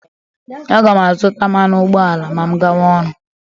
Aga m azụta mmanụ ụgbọala ma m gawa ọrụ.